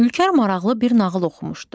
Ülkər maraqlı bir nağıl oxumuşdu.